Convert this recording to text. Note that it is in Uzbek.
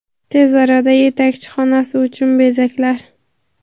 Tez orada yetakchi xonasi uchun bezaklar.